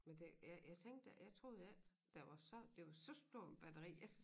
Men det jeg tænkte jeg troede ikke der var så det var så stor en batteri jeg